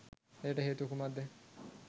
එයට හේතුව කුමක්ද?